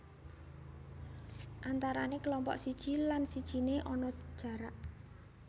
Antarané kelompok siji lan sijine ana jarak